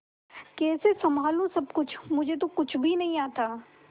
कैसे संभालू सब कुछ मुझे तो कुछ भी नहीं आता